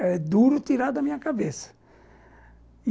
É duro tirar da minha cabeça.